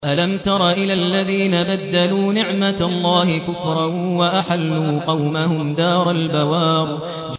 ۞ أَلَمْ تَرَ إِلَى الَّذِينَ بَدَّلُوا نِعْمَتَ اللَّهِ كُفْرًا وَأَحَلُّوا قَوْمَهُمْ دَارَ الْبَوَارِ